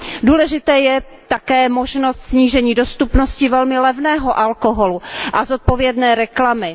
Důležitá je také možnost snížení dostupnosti velmi levného alkoholu a zodpovědné reklamy.